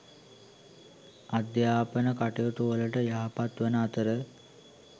අධ්‍යාපන කටයුතුවලට යහපත් වන අතර